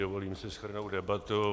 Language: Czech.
Dovolím si shrnout debatu.